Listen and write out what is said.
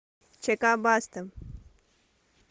чк баста